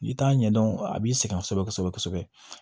N'i t'a ɲɛdɔn a b'i sɛgɛn kosɛbɛ kosɛbɛ